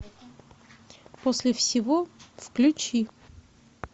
после всего включи